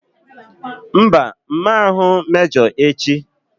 Mba! M ma ahụ mejọ echi.